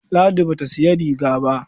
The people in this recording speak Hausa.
Ladi ba ta sayi rigar ba.